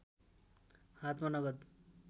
हातमा नगद